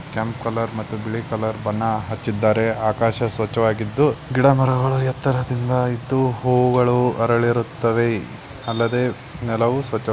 ಕೆಂಪ್ ಕಲರ್ ಮತ್ತು ಬಿಳಿ ಕಲರ್ ಬಣ್ಣ ಹಚ್ಚಿದ್ದಾರೆ ಆಕಾಶ ಸ್ವಚ್ಚವಾಗಿದ್ದು ಗಿಡ ಮರಗಳು ಎತ್ತರದಿಂದ ಇದು ಹೂವುಗಳು ಅರಳಿರುವ ತವೇ ಅಲ್ಲದೆ ನೆಲವು ಸ್ವಚ್ ವಾಗಿ --